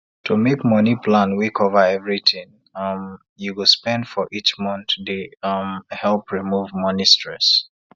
to make money plan wey cover every tin um you go spend for each month dey um help remove money stress